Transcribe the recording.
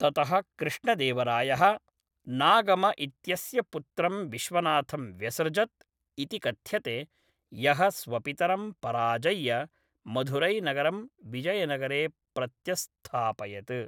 ततः कृष्णदेवरायः नागम इत्यस्य पुत्रं विश्वनाथं व्यसृजत् इति कथ्यते, यः स्वपितरं पराजय्य मधुरैनगरं विजयनगरे प्रत्यस्थापयत्